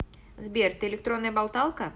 сбер ты электронная болталка